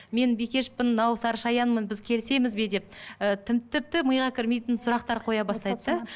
мен бикешпін мынау сарышаянмын біз келісеміз бе деп і тіпті миға кірмейтін сұрақтар қоя бастайды да